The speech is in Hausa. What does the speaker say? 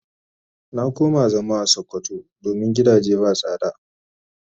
Na koma zama a sokoto domin gidage ba sada.